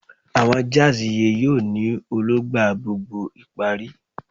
Awọn jazz iye yoo ni Ologba gbogbo ìparí